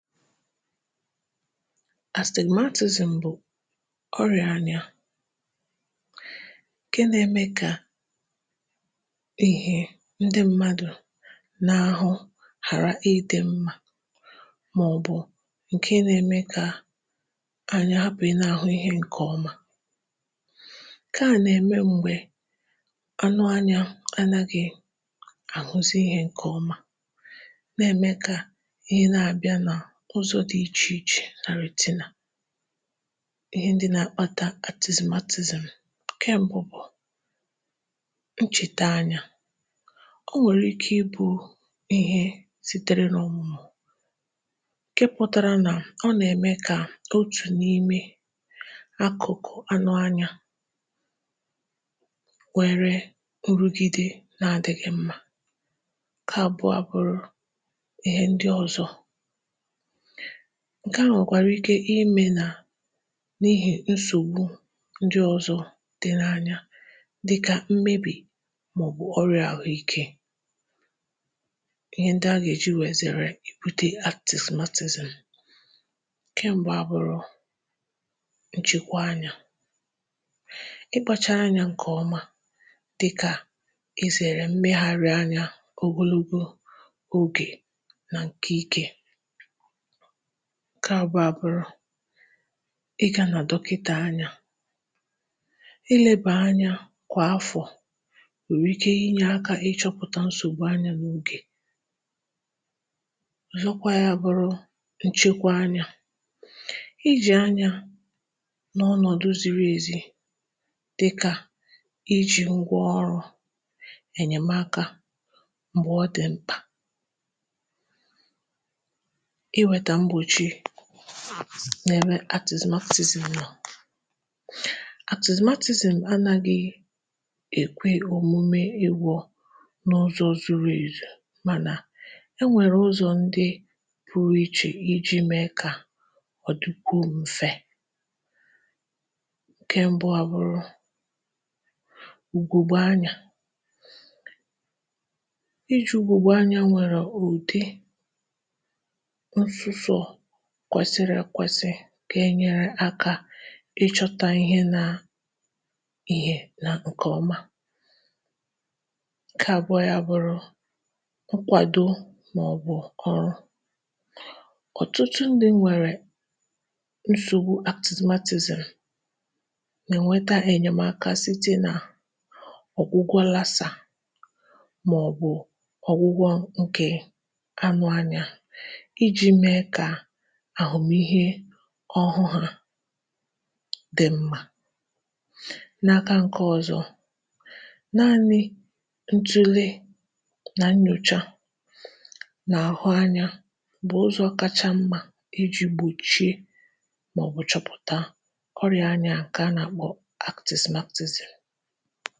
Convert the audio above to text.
Astigmatism bụ̀ ọrịà anya, ǹke na-eme kà ihe ndị mmadụ̀ na-ahụ̀ ghàra ịdị mma màọbụ̀ ǹke na-eme kà anya hapụ̀ ịdị na-ahụ ihe ǹkè ọma. Nke a nà-eme m̀gbè anụ anyȧ anaghị àhụzi ihe ǹkè ọma, na-eme ka ihe na-abịa na ụzọ dị̀ ichè ichè na retina[ce]. Ihe ndị na-akpata astigmatism. Nkẹ̀ m̀bụ bụ̀ ǹchètè anya. O nwèrè ike ịbụ ihe sitere n' ǹke pụtara nà ọ nà-eme kà otù n’ime akụ̀kụ̀ anụ anya nwéré nrụgide na-adịgi̇ mma. Nke abụọ abụrụ ihe ndị ọzọ̀. Nke à nwekwàrà ike imė nà n’ihi nsògbu ndị ọzọ̇ dị n’anya dịkà mmebì màọbụ̀ ọrịà àhụike. Ihe ndị a gà-èji wee zèrè astigmatism. Nke m̀bụ a bụrụ ǹchekwá anya. Ịkpȧchaa anyȧ ǹkè ọma dịkà izèrè mmegharị anya ogologo ogè nà ǹkè ike. Nke abụọ à bụrụ ị ga nà dọkịtà anya, ịlebà anya kwà afọ̀ nwèrè ike inye áká ịchọ̇pụ̀ta nsògbu anya n'ogè. nkè ọ̀zọkwa ya bụrụ nchekwa anya. Iji̇ anya n’ọnọ̀dụ ziri èzi dịkà iji̇ ngwaọrụ̇ enyèmeaka m̀gbè ọ dị̀ mkpà. Iweta mgbochi n'ebe astigmatism nọ. Astigmatism anaghị ekwe omume ịgwọ n’ụzọ zuru ezu, mana e nwere ụzọ ndị pụrụ iche iji mee ka ọ dịkwuo mfe. Nke mbụ a bụrụ ùgòbè anya. Iji ùgòbè anya nwere ụdị ńsuso kwesịrị ekwesị gà-ènye aka ịchọ̇tȧ ihe ná ihe na ǹkẹ̀ ọma. Nkẹ̀ àbụọ ya à bụrụ nkwàdo màọbụ̀ ọrụ. Ọtụtụ ndị nwèrè nsògbu astigmatism na-enweta ènyemaka site nà ọ̀gwụgwọ Lassa màọbụ̀ ọ̀gwụgwọ ǹkẹ̀ anụ anya, iji mee ka àhụmiihe ọhụụ ha dị mma. N’aka ǹke ọ̀zọ, naanị ǹtule nà nnyocha n'àhụ anya bụ̀ ụzọ̇ kacha mma iji̇ gbòchie màọbụ̀ chọpụ̀ta ọrịa anya ǹke a nà-akpọ aktizimatizim.